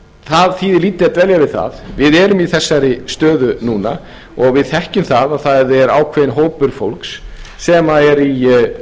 lítið að dvelja við það við erum í þessari stöðu núna og við þekkjum það að það er ákveðinn hópur fólks sem er